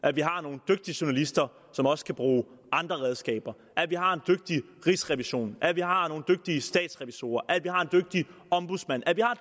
at vi har nogle dygtige journalister som også kan bruge andre redskaber at vi har en dygtig rigsrevision at vi har nogle dygtige statsrevisorer at vi har en dygtig ombudsmand at vi har